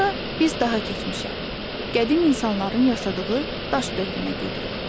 Sonra biz daha keçmişə, qədim insanların yaşadığı daş dövrünə gedirik.